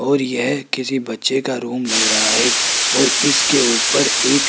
और यह किसी बच्चे का रूम लग रहा है और इसके ऊपर एक--